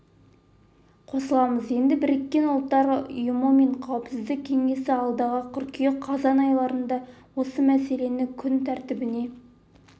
қосыламыз енді біріккен ұлттар ұйымы мен қауіпсіздік кеңесі алдағы қыркүйек-қазан айларында осы мәселені күн тәртібіне